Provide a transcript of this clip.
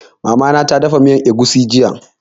Mama ta dafa miyan egusi jiya